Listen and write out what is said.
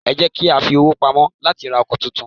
Ẹ jẹ́ kiya fi owó pamọ́ láti ra ọkọ̀ tuntun.